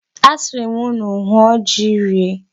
Asịrị m unu hụọ ji rie.